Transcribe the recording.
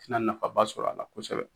Ti na nafaba sɔrɔ a la kosɛbɛ